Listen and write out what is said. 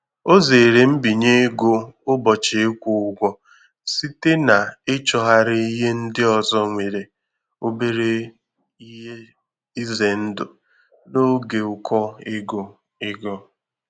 Ọ zere mbinye ego ụbọchị ịkwụ ụgwọ site n'ịchọgharị ihe ndị ọzọ nwere obere ihe ize ndụ n'oge ụkọ ego. ego.